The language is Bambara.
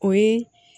O ye